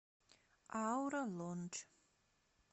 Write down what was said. аура лондж